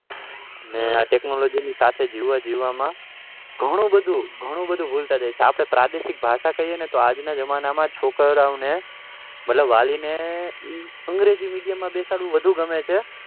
અને technology ના સાથે જીવન જીવવા માં ઘણું બધું ભૂલતા જાય છે સાથે આપડે પ્રાદેશિક ભાષા કાઈએ તો આજનાજમાના છોકરા ઓ ને અમતલબ વાલી ને અંગ્રેજી medium માં બેસાડવું વધુ ગમે છે